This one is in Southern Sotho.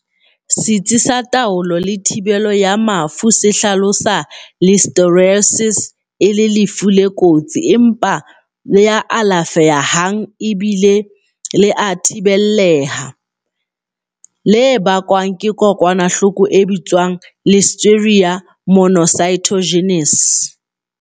Setsi sa Taolo le Thibelo ya Mafu se hlalosa Listeriosis e le lefu le kotsi empa le alafe hang le bile e le thibelleha, le bakwang ke kokwanahloko e bitswang Listeria monocytogenes.